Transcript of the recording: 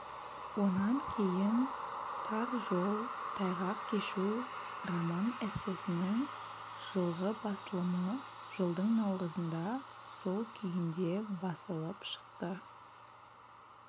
онан кейін тар жол тайғақ кешу роман-эссесінің жылғы басылымы жылдың наурызында сол күйінде басылып шықты